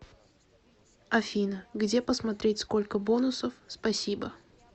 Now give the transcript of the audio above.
афина где посмотреть сколько бонусов спасибо